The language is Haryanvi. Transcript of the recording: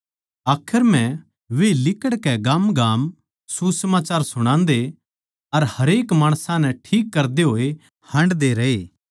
आखर म्ह वे लिकड़कै गामगाम सुसमाचार सुणान्दे अर हरेक माणसां नै ठीक करदे होए हांडदे रहे